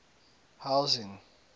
housing